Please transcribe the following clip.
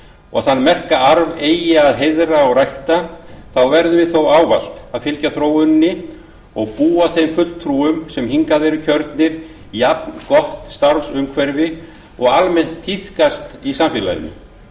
og þann merka arf eigi að heiðra og rækta þá verðum við þó ávallt að fylgja þróuninni og búa þeim fulltrúum sem hingað eru kjörnir jafngott starfsumhverfi og almennt tíðkast í samfélaginu